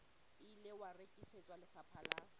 ile wa rekisetswa lefapha la